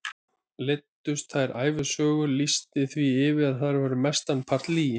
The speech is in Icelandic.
Leiddust þá ævisögur, lýsti því yfir að þær væru mestan part lygi.